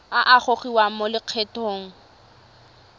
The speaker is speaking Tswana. a a gogiwang mo lokgethong